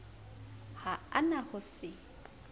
ha a na ho se